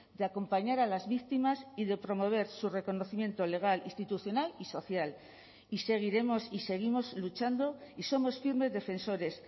de acompañar a las víctimas y de promover su reconocimiento legal institucional y social y seguiremos y seguimos luchando y somos firmes defensores